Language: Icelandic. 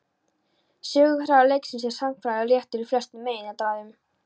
Söguþráður leiksins er sagnfræðilega réttur í flestum meginatriðum.